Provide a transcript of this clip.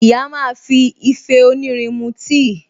Ìyá máa fi ìfẹ́ onírin mú tíì